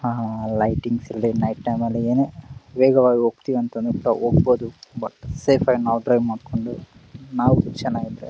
ಹಾ ಹಾ ಲೈಟಿಂಗ್ಸ್ ಇಲ್ದೆ ನೈಟ್ ಟೈಮ್ ಅಲ್ಲಿ ಏನೋ ವೇಗವಾಗಿ ಹೋಗ್ತಿವಿ ಅಂದ್ರೆ ಹೋಗ್ಬಹುದು ಬಟ್ ಸೇಫ್ ಆಗಿ ಡ್ರೈವ್ ಮಾಡ್ಕೊಂಡು ನಾಲ್ಕ್ ಜನ ಇದ್ರೆ--